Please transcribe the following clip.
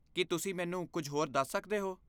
ਕੀ ਤੁਸੀਂ ਮੈਨੂੰ ਕੁਝ ਹੋਰ ਦੱਸ ਸਕਦੇ ਹੋ?